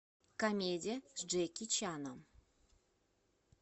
комедия с джеки чаном